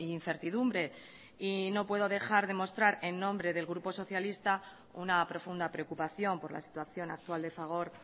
incertidumbre y no puede dejar de mostrar en nombre del grupo socialista una profunda preocupación por la situación actual de fagor